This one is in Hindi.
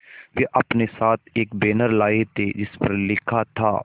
वे अपने साथ एक बैनर लाए थे जिस पर लिखा था